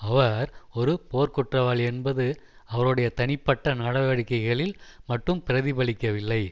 அவர் ஒரு போர்க்குற்றவாளி என்பது அவருடைய தனிப்பட்ட நடவடிக்கைளில் மட்டும் பிரதிபலிக்கவில்லை